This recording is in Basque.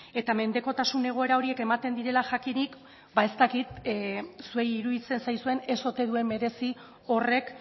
eta mendekotasun egoera horiek ematen direla jakinik ba ez dakit zuei iruditzen zaizuen ez ote duen merezi horrek